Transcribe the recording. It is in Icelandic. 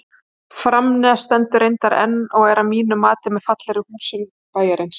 Framnes stendur reyndar enn og er að mínu mati með fallegri húsum bæjarins.